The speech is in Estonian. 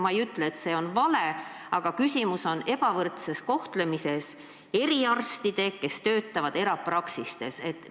Ma ei ütle, et see on vale, aga küsimus on nende eriarstide, kes töötavad erapraksistes, ebavõrdses kohtlemises.